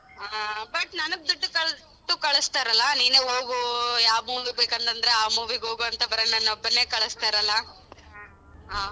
ಹಾ but ನನಗ್ ದುಡ್ಡು ಕಲ್~ ದುಡ್ಡು ಕಳ್ಸ್ತಾರಲ್ಲ ನೀನೆ ಹೋಗು ಯಾವ್ movie ಗ್ ಬೇಕಂತಂದ್ರೆ ಆ movie ಗ್ ಹೋಗು ಅಂತ ಬರೇ ನನ್ ಒಬ್ಬನ್ನೇ ಕಳ್ಸ್ತಾರಲ್ಲ .